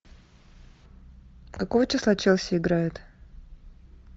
какого числа челси играет